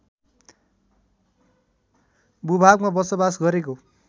भूभागमा बसोबास गरेको